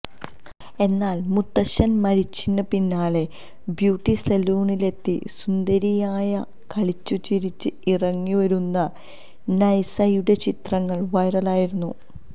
എന്നാല് മുത്തച്ഛന് മരിച്ചിന് പിന്നാലെ ബ്യൂട്ടി സലൂണിലെത്തി സുന്ദരിയായി കളിച്ചുചിരിച്ച് ഇറങ്ങിവരുന്ന നൈസയുടെ ചിത്രങ്ങള് വൈറലായിരുന്നു